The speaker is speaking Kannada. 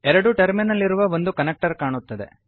ಎರಡು ಟರ್ಮಿನಲ್ ಇರುವ ಒಂದು ಕನೆಕ್ಟರ್ ಕಾಣುತ್ತದೆ